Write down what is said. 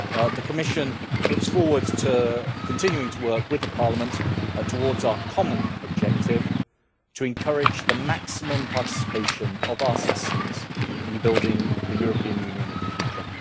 The Commission looks forward to continuing to work with Parliament towards our common objective to encourage the maximum participation of our citizens in building the European Union of the future.